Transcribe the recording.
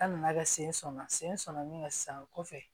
An nana kɛ sen sɔnna sen sɔnna min kan sisan o kɔfɛ